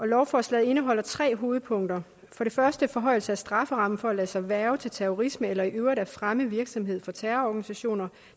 lovforslaget indeholder tre hovedpunkter for det første en forhøjelse af strafferammen for at lade sig hverve til terrorisme eller i øvrigt at fremme virksomhed for terrororganisationer